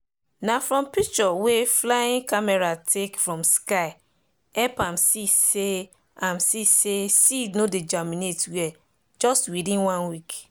na from picture wey flying camera take from sky help am see say am see say seed no dey germinate well just within one week.